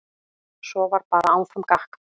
Svo var bara áfram gakk.